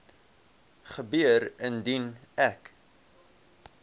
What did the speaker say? gebeur indien ek